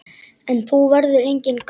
En nú verður enginn gamall.